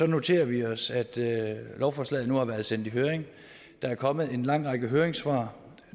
noterer vi os at lovforslaget nu har været sendt i høring der er kommet en lang række høringssvar